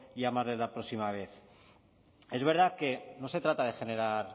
llamarles la próxima vez es verdad que no se trata de generar